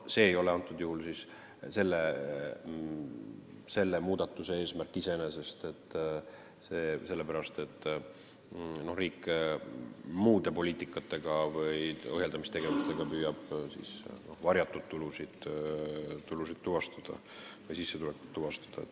See ei ole iseenesest selle muudatuse eesmärk, sellepärast et riik püüab muude poliitikate või ohjeldamistegevustega varjatud tulusid ja sissetulekuid tuvastada.